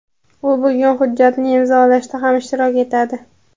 U bugun hujjatni imzolashda ham ishtirok etadi.